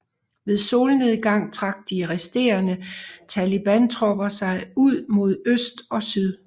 Ved solnedgang trak de resterende talibantropper sig ud mod syd og øst